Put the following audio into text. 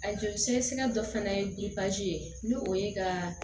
A joli sɛgɛsɛgɛ dɔ fana ye ye n'o ye ka